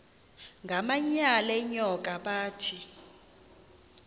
ngamanyal enyoka bathi